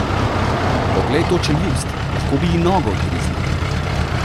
Poglej to čeljust, lahko bi ji nogo odgriznil!